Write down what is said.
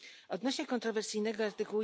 Odnośnie kontrowersyjnego art.